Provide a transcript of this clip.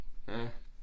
Ja